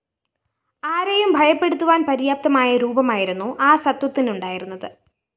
ആരേയും ഭയപ്പെടുത്തുവാന്‍ പര്യാപ്തമായ രൂപമായിരുന്നു ആ സത്വത്തിനുണ്ടായിരുന്നത്